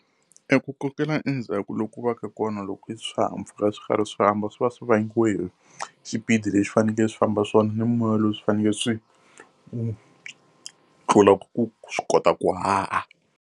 E ku kokela endzhaku loko u va ka kona loko swihahampfhuka swi karhi swi famba swi va swi vangiwa hi xipidi lexi fanekele swi famba swona, ni moya lowu swi fanekele swi wu tlula ku swi kota ku haha.